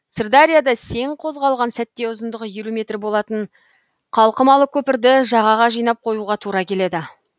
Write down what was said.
сырдарияда сең қозғалған сәтте ұзындығы елу метр болатын қалқымалы көпірді жағаға жинап қоюға тура келеді